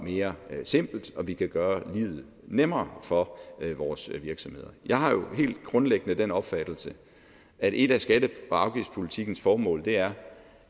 mere simpelt og vi kan gøre livet nemmere for vores virksomheder jeg har jo helt grundlæggende den opfattelse at et af skatte og afgiftspolitikkens formål er